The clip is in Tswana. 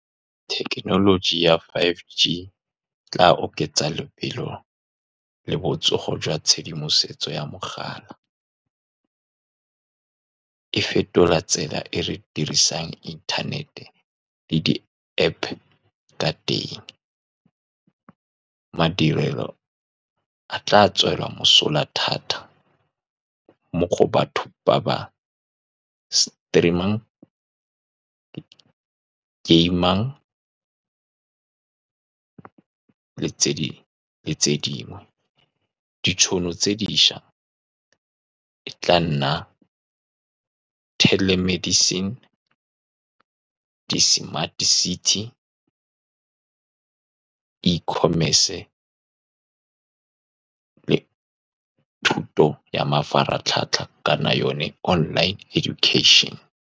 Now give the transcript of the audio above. Thekenoloji ya Five G e tla oketsa lebelo le botsogo jwa tshedimosetso ya mogala, e fetola tsela e re dirisang internet-e le di-App-pe ka teng. Madirelo a tla tswelwa mosola thata mo go batho ba ba stream-ang, game-mang le tse dingwe. Ditšhono tse dišwa e tla nna telemedicine, di-smart city, e-commerce le thuto ya mafaratlhatlha, kana yone online education-e.